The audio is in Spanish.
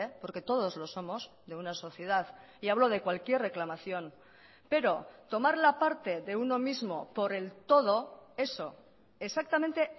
porque todos los somos de una sociedad y hablo de cualquier reclamación pero tomar la parte de uno mismo por el todo eso exactamente